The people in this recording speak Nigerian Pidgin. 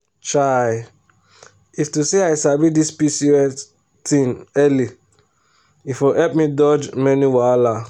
chai if to say i sabi this pcos thing early e for help me dodge many wahala.